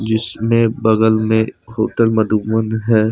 इसमें बगल में होटल मधुबन है।